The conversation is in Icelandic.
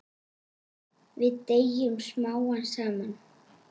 Við deyjum smám saman.